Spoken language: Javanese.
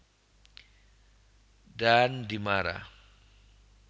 Daan Dimara